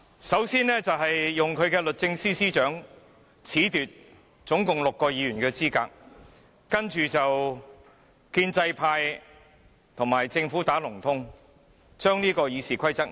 首先，政府利用律政司司長褫奪總共6位議員的資格，接着建制派與政府"打龍通"，提出修改《議事規則》。